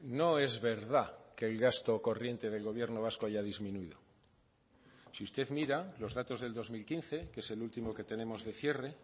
no es verdad que el gasto corriente del gobierno vasco haya disminuido si usted mira los datos del dos mil quince que es el último que tenemos de cierre